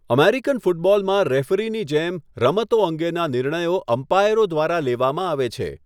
American ફૂટબોલમાં રેફરીની જેમ, રમતો અંગેના નિર્ણયો અમ્પાયરો દ્વારા લેવામાં આવે છે.